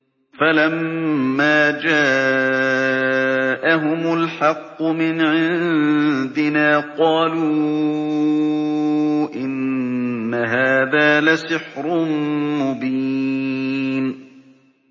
فَلَمَّا جَاءَهُمُ الْحَقُّ مِنْ عِندِنَا قَالُوا إِنَّ هَٰذَا لَسِحْرٌ مُّبِينٌ